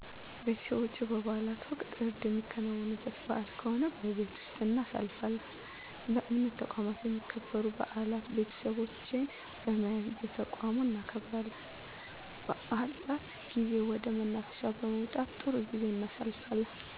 ቤተሰቦቸ በበዓላት ወቅት እርድ የሚከናወንበት በዓል ከሆነ በቤት ወስጥ እናሳልፋለን በእምነት ተቋማት የሚከበሩ በዓላት ቤተሰቦቸን በመያዝ በተቋሙ እናከብራለን በዓላት ጊዜ ወደ መናፈሻ በመውጣት ጥሩ ጊዜ እናሣልፋለን